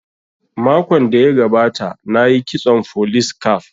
Makon da ya gabata na yi kitson folis caf